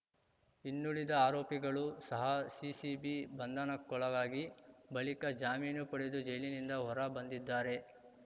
ಇನ್ನುಳಿದ ಆರೋಪಿಗಳು ಸಹ ಸಿಸಿಬಿ ಬಂಧನಕ್ಕೊಳಗಾಗಿ ಬಳಿಕ ಜಾಮೀನು ಪಡೆದು ಜೈಲಿನಿಂದ ಹೊರ ಬಂದಿದ್ದಾರೆ